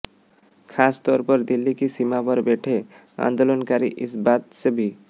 खास तौर पर दिल्ली की सीमा पर बैठे आंदोलनकारी इस बात से भी